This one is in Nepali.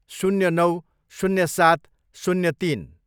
शून्य नौ, शून्य सात, शून्य तिन